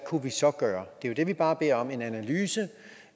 kunne vi så gøre det vi bare beder om er en analyse